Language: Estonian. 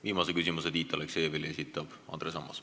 Viimase küsimuse Tiit Aleksejevile esitab Andres Ammas.